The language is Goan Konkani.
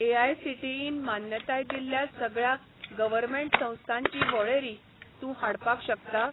एआयसीटीईन मान्यताय दिल्ल्या सगळ्या गव्हर्टमेंट संस्थांची वळेरी तूं हाडपाक शकता?